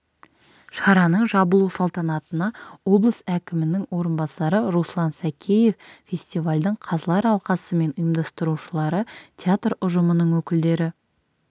шараның жабылу салтанатына облыс әкімінің орынбасары руслан сакеев фестивальдің қазылар алқасы мен ұйымдастырушылары театр ұжымының өкілдері